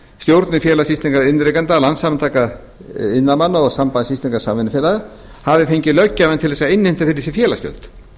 stjórnir félags íslenskra iðnrekenda landssambands iðnaðarmanna og sambands íslenskra samvinnufélaga hafi fengið löggjafann til að innheimta fyrir sig félagsgjöld